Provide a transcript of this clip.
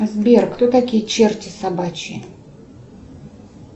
сбер кто такие черти собачьи